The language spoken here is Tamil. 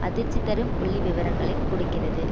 அதிர்ச்சி தரும் புள்ளிவிவரங்களைக் கொடுக்கிறது